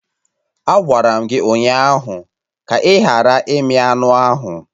Agwara m gị ụnyaahụ ka ị ghara imi anụ ahụ!